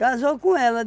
Casou com ela.